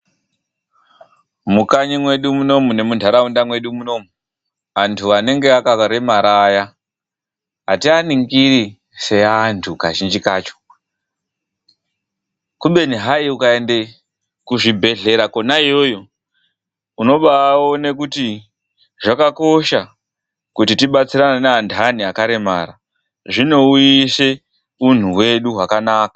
Mukanyi medu munomu nemunharaunda medu munomu, antu anenge akaremara aya ativaningiri sevantu. Kazhinji kacho kubeni hai ukaenda kuzvibhedhlera kona iyoyo unobaona kuti zvakakosha kuti tibatsirane nevakaremara. Zvinouyise unhu hwedu hwakanaka.